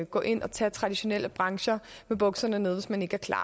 gå ind og tage traditionelle brancher med bukserne nede hvis man ikke er klar